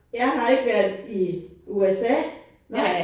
Jeg har ikke været i USA nej